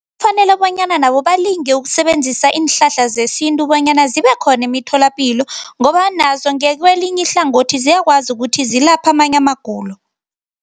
Fanele bonyana nabo balinge ukusebenzisa iinhlahla zesintu, bonyana zibekhona imitholapilo, ngoba nazo ngakwelinye ihlangothi ziyakwazi ukuthi zilapha amanye amagulo.